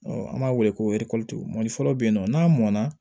an b'a wele ko mɔli dɔ be yen nɔ n'a mɔn na